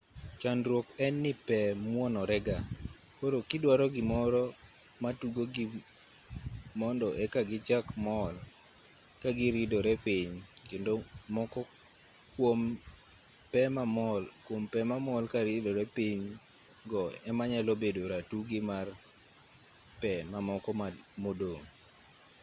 chandruok en ni pe muonore ga koro giduaro gimoro matugogi mondo eka gichak mol kagiridore piny kendo moko kwom pe mamol karidore piny go ema nyalo bedo ratugi mar pe mamoko modong'